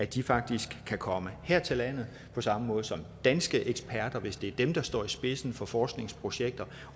de faktisk kan komme her til landet på samme måde som danske eksperter hvis det er dem der står i spidsen for forskningsprojekter